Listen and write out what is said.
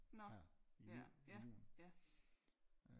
Nå ja ja ja